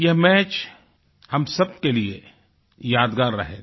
यह मैच हम सभी के लिए एक यादगार रहेगा